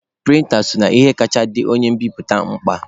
Prịnta so n'ihe kacha dị onye mbiputa mkpa.